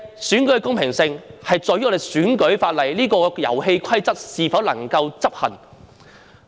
選舉的公平性在於我們的選舉法例——這個遊戲規則——能否執行。